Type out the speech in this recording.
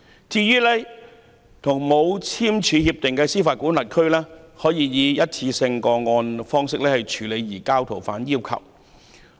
至於沒有簽署協定的司法管轄區，可以以單一個案方式處理移交逃犯要求。